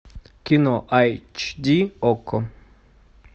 кино айч ди окко